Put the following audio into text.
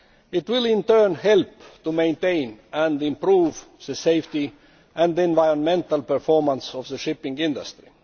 It will in turn help to maintain and improve the safety and the environmental performance of the shipping industry.